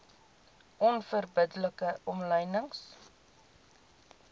onverbidde like omlynings